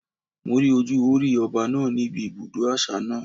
Mo rí ojú Hórì Ọba náà ní ibi ibùdó àṣà náà.